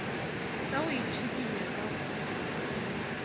sa go itšhikinya ka go